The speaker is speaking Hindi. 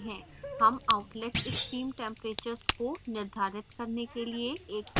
हम outlet stream temperatures को निर्धारित करने के लिए एक flowsheet विकसित करेंगे